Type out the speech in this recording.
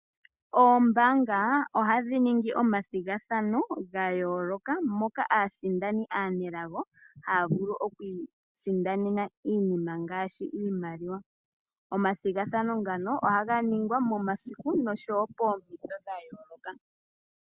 Oombaanga ohadhi ningi omathigathano gayooloka, moka aasindani aanelago haya vulu okwiisindanena iinima ngaashi iimaliwa. Omathigathano ngano ohaga ningwa momasiku noshowoo poompito dhayooloka.